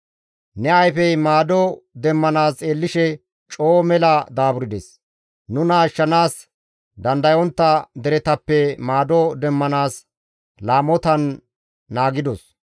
Nu ayfey maado demmanaas xeellishe coo mela daaburdes; nuna ashshanaas dandayontta deretappe maado demmanaas laamotan naagidos.